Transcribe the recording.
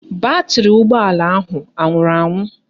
Batrị ụgbọala ahụ anwụrụ anwụ?